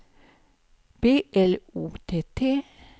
B L O T T